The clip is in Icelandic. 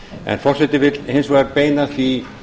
en forseti vill hins vegar beina því